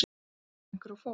Að koma einhverju á fót